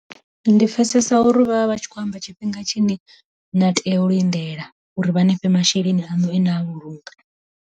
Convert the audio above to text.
Ndi pfhesesa uri vha vha tshi kho amba tshifhinga tshine na tea u lindela uri vha nifhe masheleni aṋu e na a vhulunga.